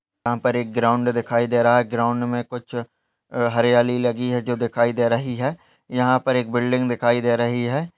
यहाँ पर एक ग्राउंड दिखाई दे रहा है ग्राउंड में कुछ अ हरयाली लगी है जो दिखाई दे रही है यहाँ पर एक बिल्डिंग दिखाई दे रही है।